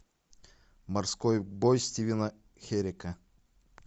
морской бой стивена херека